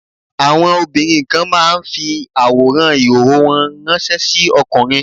Àwọn obìnrin kan máa ń fi àwòrán ìhòòhò wọn ìránṣẹ́ sí ọkùnrin.